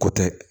Ko tɛ